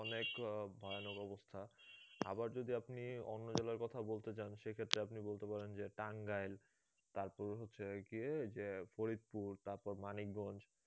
অনেক ভয়ানক অবস্থা আবার যদি আপনি অন্য জেলার কথা বলতে যান সেক্ষেত্রে আপনি বলতে পারেন যে টাঙ্গাইল তারপর হচ্ছে কি ওই যে ফরিদপুর তারপর মানিকগঞ্জ